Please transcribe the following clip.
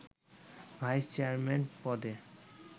vice chairman পদে